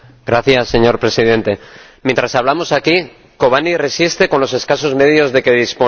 Señor Presidente, mientras hablamos aquí, Kobane resiste con los escasos medios de que dispone.